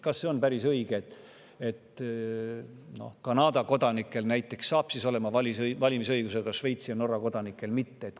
Kas on päris õige, et näiteks Kanada kodanikud saavad valimisõiguse, aga Šveitsi ja Norra kodanikud mitte?